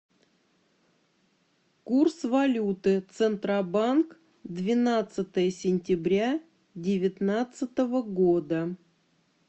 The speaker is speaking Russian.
курс валюты центробанк двенадцатое сентября девятнадцатого года